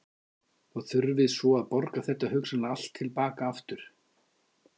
Og þurfið svo að borga þetta hugsanlega allt til baka aftur?